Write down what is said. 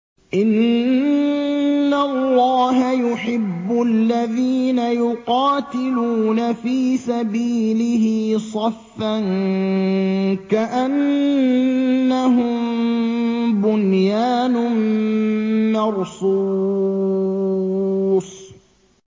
إِنَّ اللَّهَ يُحِبُّ الَّذِينَ يُقَاتِلُونَ فِي سَبِيلِهِ صَفًّا كَأَنَّهُم بُنْيَانٌ مَّرْصُوصٌ